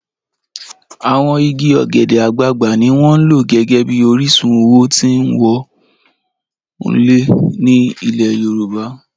Àwọn igi ogede-agbàgbà ni wọ́n ń lò gẹ́gẹ́ bí orísun owó tí wọ́n ń wọlé ní ilẹ̀ Yorùbá